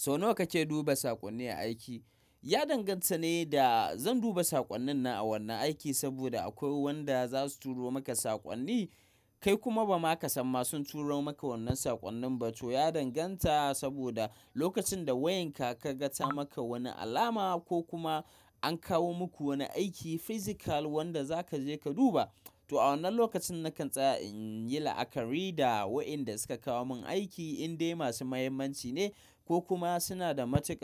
Sau nawa kake duba saƙonni a aiki? Ya danganta ne da zan duba saƙonnin na a wannan aiki, saboda akwai wanda za su turo maka saƙonni kai kuma ba ma ka san masu turo maka wannan saƙonnin ba. To ya danganta, saboda lokacin da wayanka ka gata maka wani alama ko kuma an kawo muku wani aiki physical wanda za ka je ka duba. To a wannan lokacin nakan tsaya in yi la'akari da wayoyin da suka kawo min aiki indai masu muhimmanci ne ko kuma suna da mataki.